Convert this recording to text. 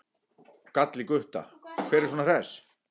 gall í Gutta, hver er svona hress?